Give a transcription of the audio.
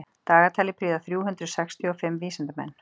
dagatalið prýða þrjú hundruð sextíu og fimm vísindamenn